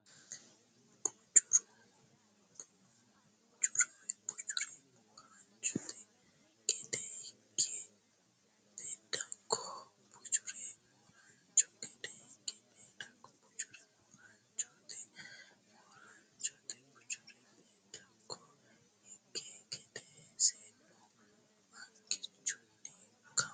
Bujjuure Mooraanchote gede higi Beeddakko Bujjuure Mooraanchote gede higi Beeddakko Bujjuure Mooraanchote Mooraanchote Bujjuure Beeddakko higi gede seennu angichunni kawa !